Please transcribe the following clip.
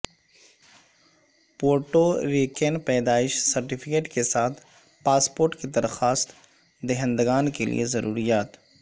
Puerto Rican پیدائش certificate کے ساتھ پاسپورٹ کے درخواست دہندگان کے لئے ضروریات